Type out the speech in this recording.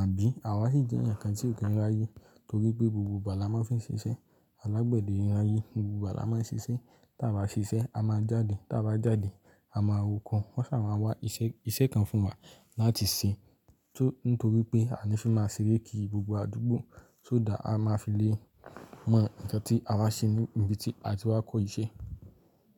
àbí àwa sì jẹ́ eeyan kan tí ò kí ń ri ayè torí pé gbogbo ìgbà la máa ń fi ṣiṣẹ́. Alágbẹ̀dẹ n ri ayè gbogbo ìgbà la máa ń ṣiṣẹ́. Tí a bá ṣiṣẹ́ a máa jáde, tí a bá jáde a máa roko wọ́n sì máa wá iṣẹ́, iṣẹ́ kan fún wa láti ṣe tó-- nítorí pé a ní fí máa ṣeré kí gbogbo àdúgbò tó dáa a máa fi lé mọ nkan tí a wa ṣe ní ibi tí a ti wá kọ́ iṣẹ́.